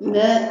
N bɛ